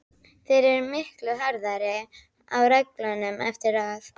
Þeir eru miklu harðari á reglunum eftir að